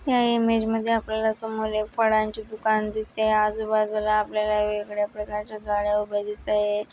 या इमेज मध्ये आपल्याला समोर फळांची दुकान दिसत आहे आजूबाजूला आपल्याला वेगळ्या प्रकारच्या गाड्या दिसताये.